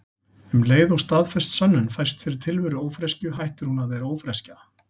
Um leið og staðfest sönnun fæst fyrir tilveru ófreskju hættir hún að vera ófreskja.